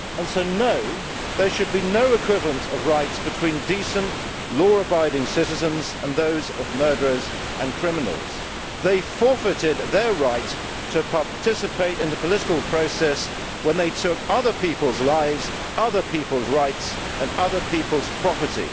So there should be no equivalence of rights between decent, law abiding citizens and those of murderers and criminals. They forfeited their right to participate in the political process when they took other people's lives, other people's rights and other people's property.